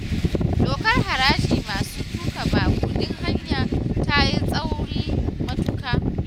Dokar harajin masu tuƙa babur din haya ta yi tsauri matuƙa